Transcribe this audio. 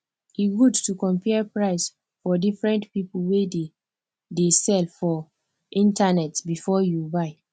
e good to compare price for diferent people wey dey dey sell for internet before you buy